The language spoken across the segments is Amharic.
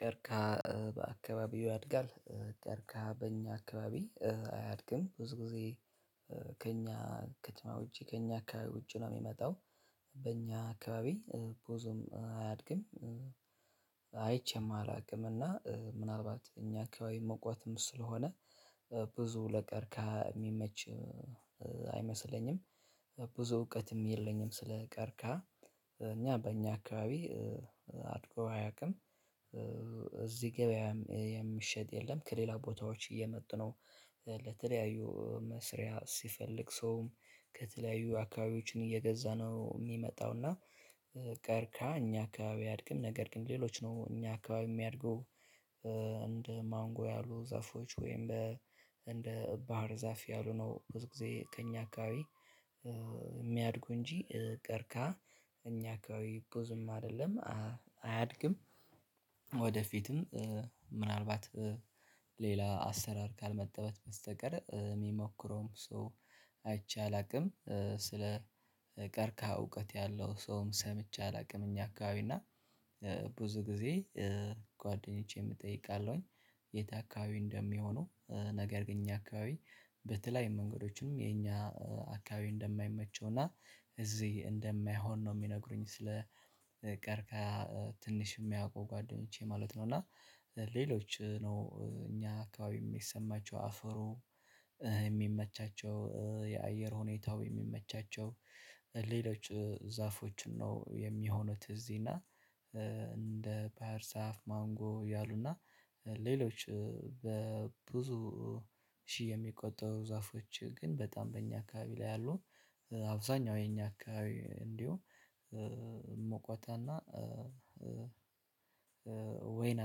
ቀርከሃ በአካባቢው ያድጋል። ቀርከሃ በእኛ አካባቢ አያድግም ብዙ ጊዜ። ከእኛ ከትማ ውጪ ከእኛ አካባቢ ውጪ ነው የሚመጣው። በእኛ አካባቢ ቡዙም አያድግም። አይቼም አላውቅም እና ምናልባት እኛ አካባቢ መቋትም ስለሆነ። ብዙ ለቀርካሀ እሚመች አይመስለኝም። ብዙ እውቀትም የለኝም ስለ ቀርከሃ። እኛ በእኛ አካባቢ አድጎ አያውቅም። እዚህ ገበያ የሚሸጥ የለም ከሌላ ቦታዎች እየመጡ ነው። ለተለያዩ መስሪያ ሲፈልግ ሰውም ከተለያዩ አካባቢዎችን እየገዛ ነው የሚመጣው እና። ቀርከሃ እኛ አካባቢ አድርግም ነገር ግን ሌሎች ነው እኛ አካባቢ የሚያድጉ። እንደ ማንጎ ያሉ ዛፎች ወይም በ እንደ ባህር ዛፍ ያሉ ነው ብዙ ጊዜ ከእኛ አካባቢ። እሚያድጉ እንጂ ቀርካሀ እኛ አካባቢ ብዙም አደለም አያድግም። ወደፊትም ምናልባት ሌላ አሰራር ካልመጣበት በስተቀር ሚሞክረውም ሶው አይቼ አላቅም። ስለ ቀርካሀ እውቀት ያለው ሰውም ሰምቼ አላውቅም እኛ አካባቢ እና። ብዙ ጊዜ ጓደኞቼም እጠይቃለሁኝ የት አካባቢ እንደሚሆነው? ነገር ግን እኛ አካባቢ በተለያየ መንገዶችም የኛ አካባቢ እንደማይመቸው እና እዚ እንደማይሆን ነው ሚነግሩኝ። ስለ ቀርከሃ ትንሽ የሚያውቁ ጓደኞቼ ማለት ነው። እና ሌሎች ነው እኛ አካባቢ የሚሰማቸው አፈሩ የሚመቻቸው የአየር ሁኔታው የሚመቻቸው ሌሎች ዛፎችን ነው የሚሆነው እዚ እና። እንደ ባህር ዛፍ ማንጎ ያሉና ሌሎች በብዙ ሺህ የሚቆጠሩ ዛፎች ግን በጣም በእኛ አካባቢ ላይ ያሉ አብዛኛው የኛ አካባቢ እንዲሁ ሞቆታና። ወይን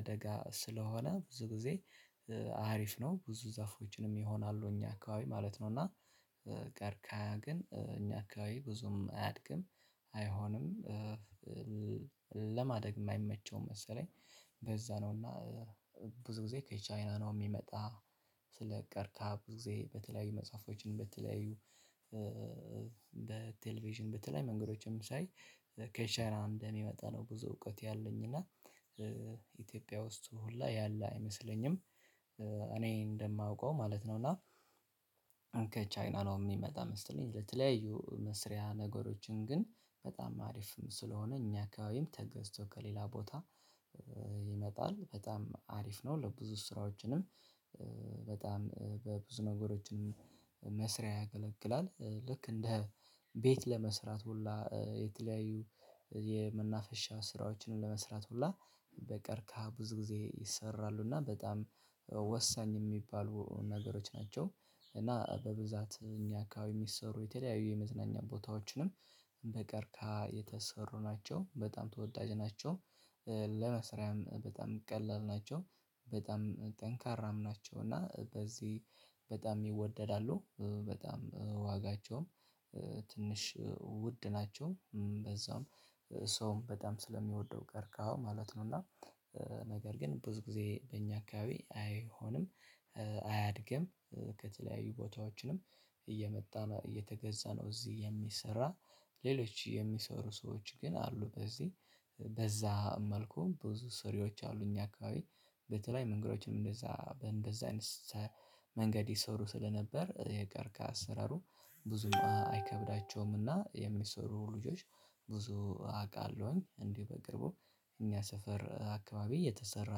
አደጋ ስለሆነ ብዙ ጊዜ አሪፍ ነው ብዙ ዛፎችንም ይሆናሉ እኛ አካባቢ ማለት ነው እና። ቀርከሃ ግን እኛ አካባቢ ብዙም አያድግም አይሆንም። ለማደግም አይመቸውም መሰለኝ በዛ ነው እና ብዙ ጊዜ ከቻይና ነው ሚመጣ። ስለ ቀርካሀ ብዙ ጊዜ በተለያዩ መጽሐፎችን በተለያዩ በቴሌቪዥን በተለያዩ መንገዶችም ሳይ። ከቻይና እንደሚመጣ ነው ብዙ እውቀት ያለኝና ኢትዮጵያ ውስጥ ሁላ ያለ አይመስለኝም። አኔ እንደማውቀው ማለት ነው እና። ከቻይና ነው የሚመጣ መሰለኝ ለተለያዩ መስሪያ ነገሮችን ግን በጣም አሪፍም ስለሆነ እኛ አካባቢም ተገዝቶ ከሌላ ቦታ። በጣም አሪፍ ነው ለብዙ ስራዎችንም። በብዙ ነገሮችን መስሪያ ያገለግላል ልክ እንደ ቤት ለመስራት ሁላ የተለያዩ የመናፈሻ ስራዎችን ለመስራት ሁላ በቀርካሀ ብዙ ጊዜ ይሰራሉ። እና በጣም ወሳኝ የሚባሉ ነገሮች ናቸው እና በብዛት እኛ አካባቢ የሚሰሩ የተለያዩ የመዝናኛ ቦታዎችንም በቀርካሀ የተሰሩ ናቸው በጣም ተወዳጅ ናቸው። ለመስሪያም በጣም ቀላል ናቸው። በጣም ጠንካራም ናቸው እና በዚህ በጣም ይወደዳሉ በጣም ዋጋቸውም ትንሽ ውድ ናቸው። በዛውም ሰውም በጣም ስለሚወደው ቀርካሀው ማለት ነው። እና ነገር ግን ብዙ ጊዜ በእኛ አካባቢ አይሆንም። አያድግም ከተለያዩ ቦታዎችንም እየመጣ እየተገዛ ነው እዚህ የሚሰራ። ሌሎች የሚሰሩ ሰዎች ግን አሉ በዚህ በዛ መልኩ ብዙ ሰሪዎች አሉ እኛ አካባቢ። በተለየዩ መንገዶችም እንደዛ በእንደዛ አይነት መንገድ ይሰሩ ስለነበር የቀርከሃ አሰራሩ ብዙም አይከብዳቸውም። እና የሚሰሩ ልጆች ብዙ አቃለሁኝ እንዲው በቅርቡ እኛ ሰፈር አካባቢ የተሰራ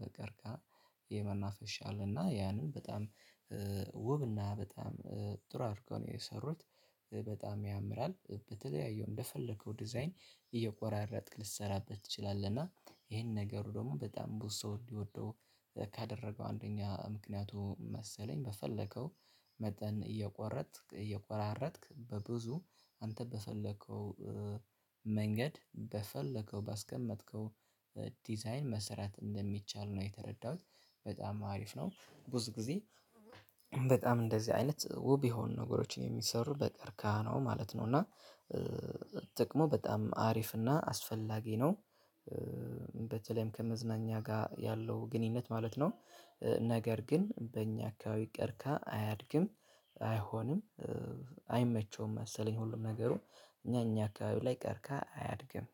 በቀርከሀ። የመናፈሻ አለና ያንን በጣም ውብና በጣም ጥሩ አድርገው ነው የሰሩት። በጣም ያምራል በተለያዩ እንደፈለከው ዲዛይን እየቆራረጥክ ልትሰራበት ትችላለህ። እና ይሄን ነገሩ ደግሞ በጣም ብዙ ሰው እንዲወደው። ካደረገው አንደኛ ምክንያቱም መሰለኝ በፈለከው መጠን እየቆረጥክ እየቆራረጥክ በብዙ አንተ በፈለከው መንገድ በፈለከው ባስቀመጥከው ዲዛይን መሰራት እንደሚቻል ነው የተረዳሁት። በጣም አሪፍ ነው። ብዙ ጊዜ በጣም እንደዚ አይነት ውብ የሆኑ ነገሮች የሚሰሩ በቀርከሀ ነው ማለት ነው። እና ጥቅሙ በጣም አሪፍ እና አስፈላጊ ነው። በተለይም ከመዝናኛ ጋ ያለው ግንኙነት ማለት ነው። ነገር ግን በእኛ አካባቢ ቀርከሃ አያድግም አይሆንም። አይመቸውም መሰለኝ ሁሉም ነገሩ እና እኛ አካባቢ ላይ ቀርከሃ አያድግም።